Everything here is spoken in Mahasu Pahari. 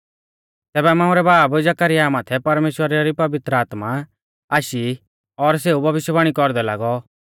तैबै मांऊ रै बाब जकरयाह माथै परमेश्‍वरा री पवित्र आत्मा आशी और सेऊ भविष्यवाणी कौरदै लागौ